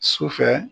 Sufɛ